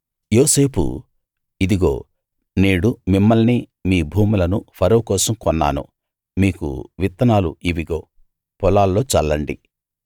యోసేపు ఇదిగో నేడు మిమ్మల్ని మీ భూములను ఫరో కోసం కొన్నాను మీకు విత్తనాలు ఇవిగో పొలాల్లో చల్లండి